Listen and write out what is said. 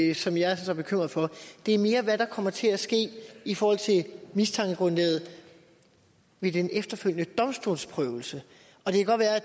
det som jeg er så bekymret for det er mere hvad der kommer til at ske i forhold til mistankegrundlaget ved den efterfølgende domstolsprøvelse